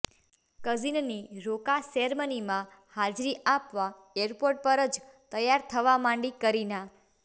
કઝિનની રોકા સેરેમનીમાં હાજરી આપવા ઍરપોર્ટ પર જ તૈયાર થવા માંડી કરીના